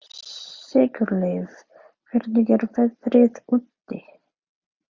Sigurleif, hvernig er veðrið úti?